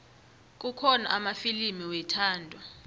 kukhona amafilimu wethando